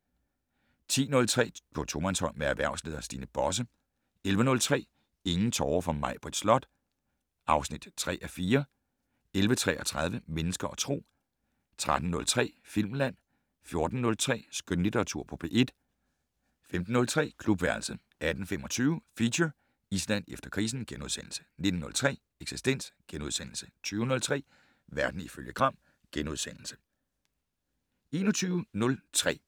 05:03: Detektor * 10:03: På tomandshånd med erhvervsleder Stine Bosse 11:03: Ingen tårer for Maibritt Slot (3:4) 11:33: Mennesker og Tro 13:03: Filmland 14:03: Skønlitteratur på P1 15:03: Klubværelset 18:25: Feature: Island efter krisen * 19:03: Eksistens * 20:03: Verden ifølge Gram *